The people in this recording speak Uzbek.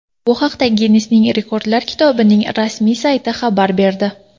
Bu haqda Ginnesning rekordlar kitobining rasmiy sayti xabar berdi.